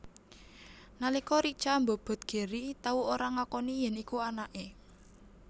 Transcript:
Nalika Richa mbobot Gary tau ora ngakoni yèn iku anaké